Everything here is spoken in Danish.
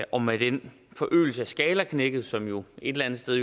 og med den forøgelse af skalaknækket som jo et eller andet sted